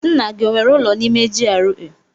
Nna gị o nwere ụlọ n'ime GRA?